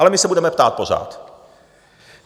Ale my se budeme ptát pořád.